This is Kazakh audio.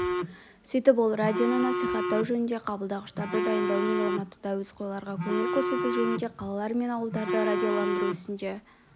сөйтіп ол радионы насихаттау жөнінде қабылдағыштарды дайындау мен орнатуда әуесқойларға көмек көрсету жөнінде қалалар мен ауылдарды радиоландыру ісінде